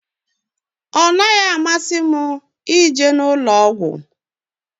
Ahụrụ m usoro ọgwụ m akwadoro maka nsonaazụ kacha mma.